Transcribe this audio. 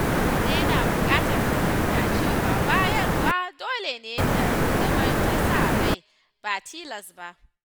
Mutane na buƙatar fahimta cewa bayarwa dole ne ta zama ta sa rai ba tilas ba.